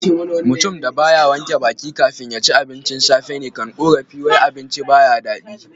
Mutum da ba ya wanke baki kafin ya ci abincin safe ne kan korafi wai abincin ba yi da dadi.